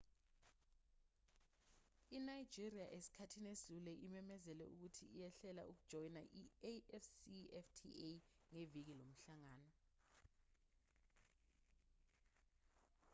inigeria esikhathini esidlule imemezele ukuthi ihlela ukujoyina i-afcfta ngeviki lomhlangano